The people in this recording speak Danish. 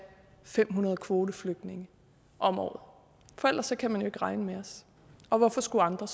fem hundrede kvoteflygtninge om året for ellers kan man jo ikke regne med os og hvorfor skulle andre